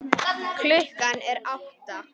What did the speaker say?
Klukkan er átta.